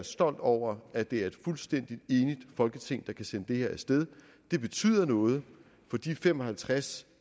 stolt over at det et fuldstændig enigt folketing der kan sende det her afsted det betyder noget for de fem og halvtreds